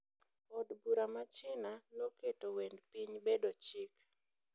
Od bura ma China noketo wend piny bedo chik.